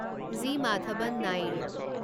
G Madhavan Nair